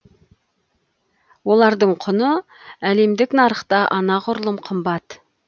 олардың құны әлемдік нарықта анағұрлым қымбат